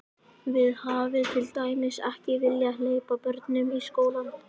Þið hafið til dæmis ekki viljað hleypa börnunum í skólann?